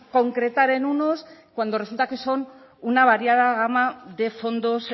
concretar en unos cuando resulta que son una variada gama de fondos